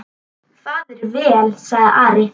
Það er vel, sagði Ari.